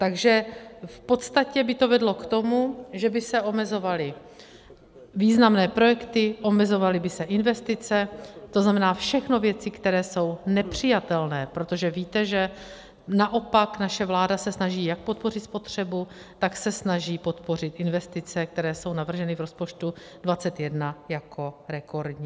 Takže v podstatě by to vedlo k tomu, že by se omezovaly významné projekty, omezovaly by se investice, to znamená, všechno věci, které jsou nepřijatelné, protože víte, že naopak naše vláda se snaží jak podpořit spotřebu, tak se snaží podpořit investice, které jsou navrženy v rozpočtu 2021 jako rekordní.